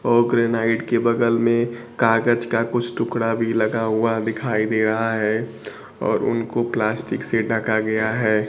और ग्रेनाइट के बगल में कागज का कुछ टुकड़ा भी लगा हुआ दिखाई दे रहा है और उनको प्लास्टिक से ढका गया है।